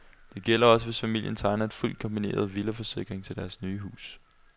Det gælder også, hvis familien tegner en fuldt kombineret villaforsikring til deres nye hus.